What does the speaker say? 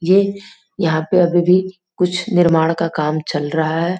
ये यहाँ पे अभी भी कुछ निर्माण का काम चल रहा है।